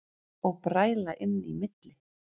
Og bræla inn í milli.